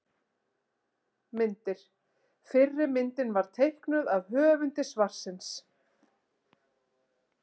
Myndir: Fyrri myndin var teiknuð af höfundi svarsins.